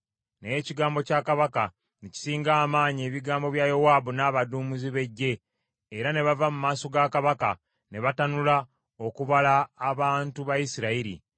Naye ekigambo kya kabaka ne kisinga amaanyi ebigambo bya Yowaabu n’abaduumizi b’eggye, era ne bava mu maaso ga kabaka ne batanula okubala abantu ba Isirayiri.